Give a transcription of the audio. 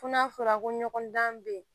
Fo n'a fɔra ko ɲɔgɔn dan bɛ yen